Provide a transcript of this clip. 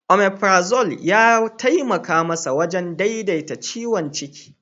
Omefrazol ya taimaka masa wajen daidaita ciwon ciki.